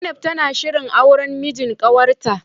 Zainab tana shirin auran mijin kawarta.